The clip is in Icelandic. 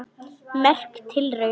Merk tilraun